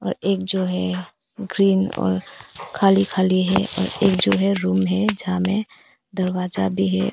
एक जो है ग्रीन और खाली खाली है और एक जो रूम जहां में दरवाजा भी है।